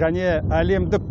және әлемдік